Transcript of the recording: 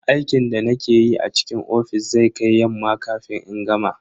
Aikin da nake yi a cikin ofis zai kai yamma kafin in gama.